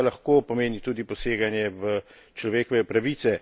To pa lahko pomeni tudi poseganje v človekove pravice.